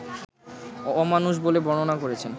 অ-মানুষ বলে বর্ণনা করেছেন